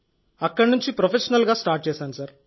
అక్కడి నుంచి ప్రొఫెషనల్గా స్టార్ట్ చేశాను సార్